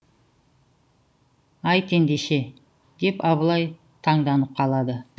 айт ендеше деп абылай таңданып қалады